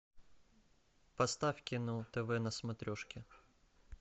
поставь кино тв на смотрешке